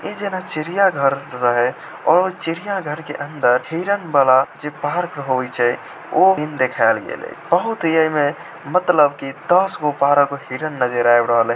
इ जना चिड़ियाघर रहे और चिड़ियाघर के अंदर हिरण वाला जे पार्क होय छै ओ सिन देखाएल गले बहुत ही अइमे मतलब दस गो बारह गो हिरण नजर आब रहले।